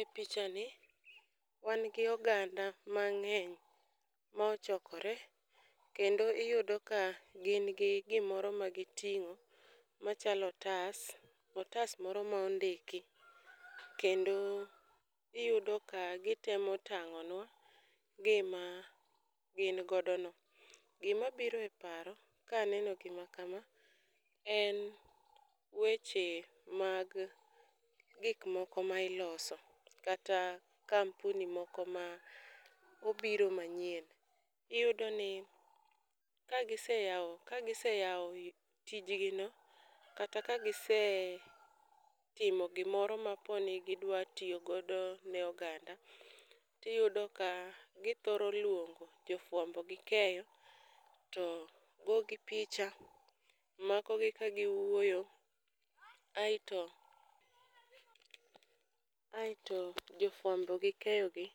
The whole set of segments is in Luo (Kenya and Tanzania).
Epichani wan gi oganda mang'eny mochokore kendo iyudo ka gin gi gimoro magiting'o machalo otas, otas moro mondiki kendo iyudo ka gitemo tang'onua gima gin godono. Gima obiro e paro ka aneno gima kama en weche mag gik moko ma iloso kata kampuni moko ma obiro manyien. Iyudo ni kagise yawo kagiseyawo tij gino kata kagise timo gimoro maponi gidwa tiyo godo ne oganda to iyudo ka githoro luongo jo fuambo gi keyo, goyo gi picha, makogi ka giwuoyo aeto aeto jofuambo gi keyogi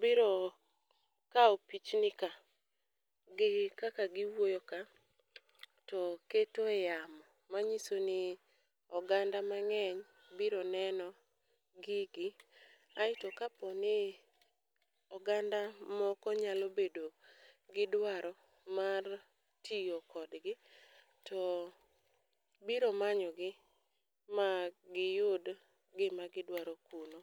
biro kawo pichni ka gi kaka giwuoyo ka to ketoe yamo manyiso ni oganda mang'eny biro neno gigi kaeto kapono oganda moko nyalo bedo gi dwaro mar tiyo kodgi to biro manyo gi ma giyud gima gidwaro kuno.